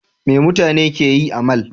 Me mutane ke yi a mall?